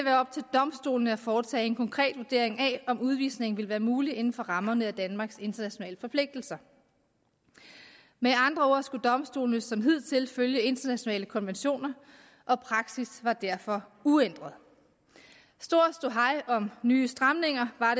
domstolene at foretage en konkret vurdering af om udvisning ville være mulig inden for rammerne af danmarks internationale forpligtelser med andre ord skulle domstolene som hidtil følge internationale konventioner og praksis var derfor uændret stor ståhej om nye stramninger var